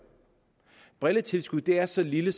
brilletilskuddet er så lille